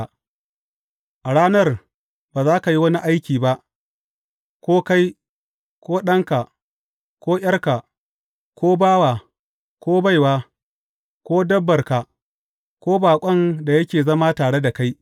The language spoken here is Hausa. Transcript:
A ranar ba za ka yi wani aiki ba, ko kai, ko ɗanka, ko ’yarka, ko bawa, ko baiwa, ko dabbarka, ko baƙon da yake zama tare da kai.